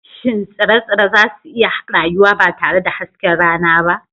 Shin tsire-tsire za su iya rayuwa ba tare da hasken rana ba?